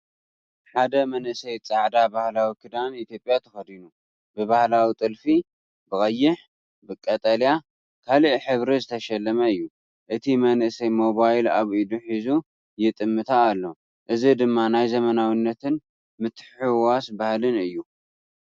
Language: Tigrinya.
ሓደ መንእሰይ ጻዕዳ ባህላዊ ክዳን ኢትዮጵያ ተኸዲኑ፡ ብባህላዊ ጥልፊ ብቀይሕ፡ ቀጠልያ፡ ካልእ ሕብሪ ዝተሸለመ እዩ። እቲ መንእሰይ ሞባይል ኣብ ኢዱ ሒዙ ይጥምታ ኣሎ፡ እዚ ድማ ናይ ዘመናዊነትን ምትሕውዋስ ባህልን እዩ።